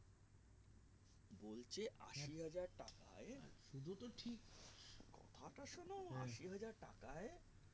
বলছে আশি হাজার শুধু তো ঠিক কথা টা শোনো আশি হাজার টাকাই